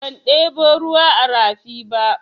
Ban ɗebo ruwa a rafi ba.